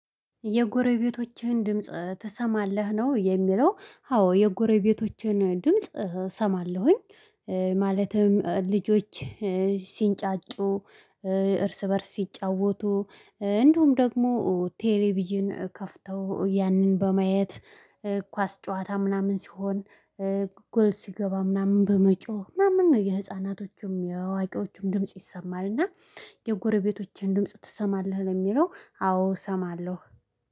የጎረቤቶችህን ድምጽ ትሰማለህ ነው የሚለው? አዎ የጎረቤቶቼን ድምጽ እሰማለሁኝ። ማለትም ልጆች ሲንጫጩ። እርስ በእርስ ሲጫወቱ እንዲሁም ደግሞ ቴሌቪዥን ከፍተው ያንን በማየት ኳስ ጨዋታ ምናምን ሲሆን። ጎል ሲገባ ምናምን በመጮህ ምናምን የህፃናቶቹም የእዋቄዎቹም ድምጽ ይሰማል። እና የጎረቤቶችህን ድምጽ ትሰማለህ ለሚለው አዎ እሰማለሁ